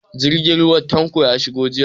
Jirgin ruwa Tanko ya shiga jiya.